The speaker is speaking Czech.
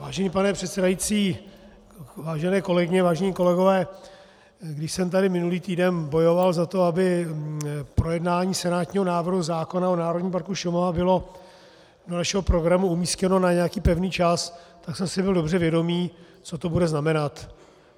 Vážený pane předsedající, vážené kolegyně, vážení kolegové, když jsem tady minulý týden bojoval za to, aby projednání senátního návrhu zákona o Národním parku Šumava bylo do našeho programu umístěno na nějaký pevný čas, tak jsem si byl dobře vědom, co to bude znamenat.